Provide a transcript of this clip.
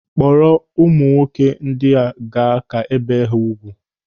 Kpọrọ ụmụ nwoke ndị gaa ka ebie ha ùgwù.